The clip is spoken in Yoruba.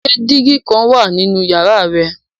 Ṣe digi kan wa ninu yara rẹ?